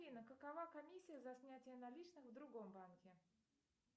афина какова комиссия за снятие наличных в другом банке